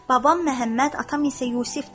Babam Məhəmməd, atam isə Yusifdir.